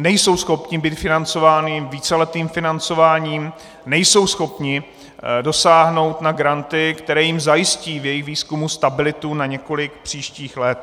nejsou schopni být financování víceletým financováním, nejsou schopni dosáhnout na granty, které jim zajistí v jejich výzkumu stabilitu na několik příštích let.